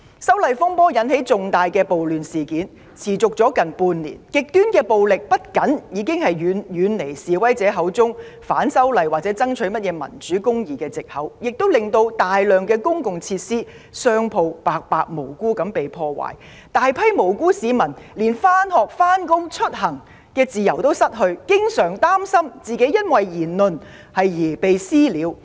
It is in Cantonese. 修例風波引發的重大暴亂事件已持續了近半年，極端暴力不僅背離示威者口中反修例和爭取所謂"民主"、"公義"的藉口，亦令大量公共設施及商鋪無辜被破壞，大批無辜市民連上學、上班及出行的自由也失去，還經常擔心因為個人言論而被"私了"。